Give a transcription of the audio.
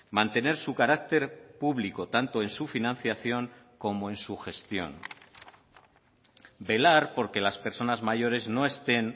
mantener su carácter público tanto en su financiación como en su gestión velar porque las personas mayores no estén